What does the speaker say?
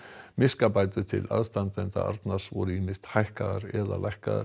miskabætur til aðstandenda Arnars voru ýmist hækkaðar eða lækkaðar